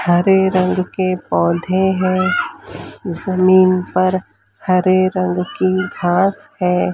हरे रंग के पौधे हैं जमीन पर हरे रंग की घास है।